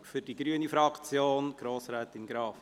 Für die grüne Fraktion Grossrätin Graf.